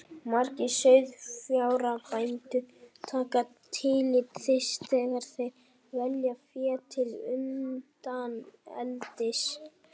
Margir sauðfjárbændur taka tillit til þess þegar þeir velja fé til undaneldis.